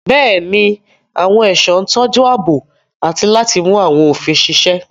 Bẹ́ẹ̀ni, àwọn ẹ̀ṣọ́ ń tọ́jú ààbò àti láti mú àwọn òfin ṣiṣẹ́.